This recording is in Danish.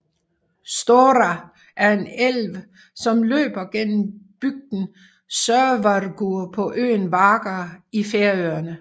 Stórá er en elv som løber gennem bygden Sørvágur på øen Vágar i Færøerne